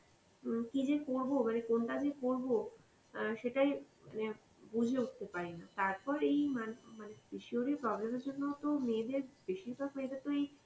উম কী যে করব মানে কোনটা যে করব অ্যাঁ সেটাই মানে বুঝে উঠতে পারি না. তারপর এই মানে~ মানে PCOD এর problem এর জন্য তো মেয়েদের বেশিরভাগ মেয়েদের তো এই